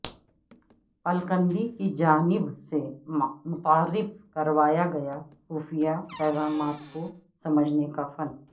Al-Kindi کی جانب سے متعارف کروایا گیا خفیہ پیغامات کو سمجھنے کا فن